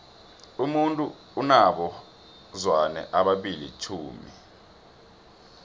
umuntu unabo zwane abili tjhumi